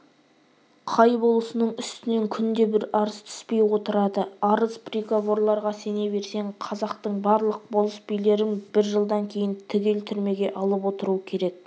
қай болысының үстінен күнде бір арыз түспей отырады арыз приговорларға сене берсең қазақтың барлық болыс-билерін бір жылдан кейін түгел түрмеге алып отыру керек